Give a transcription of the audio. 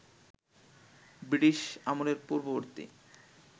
British আমলের পূর্ববর্তী